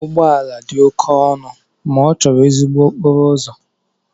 Ụgbọ ala dị oke ọnụ ma ọ chọrọ ezigbo okporo ụzọ.